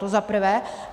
To za prvé.